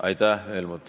Aitäh, Helmut!